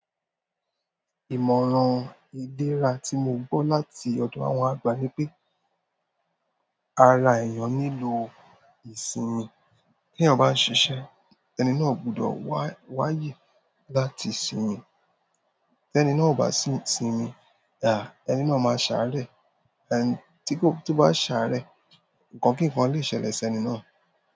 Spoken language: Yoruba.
Ìmọ̀ràn ìléra tí mo gbọ́ láti ọ̀dọ̀ àwọn àgbà ni pé ara èèyàn nílò ìsinmi. Ti eeyan ba n sise, ẹni náà gbodo wa aye láti sinmi. Tẹ́ ẹni náà kò bá sinmi, áà ẹni náà máa ṣàarẹ̀. Ẹni tí kò, tó bá ṣàarẹ̀, nǹkan kíkan lè ṣẹlẹ̀ sí ẹni náà.